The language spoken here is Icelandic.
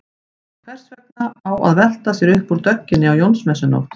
Hvers vegna á að velta sér upp úr dögginni á Jónsmessunótt?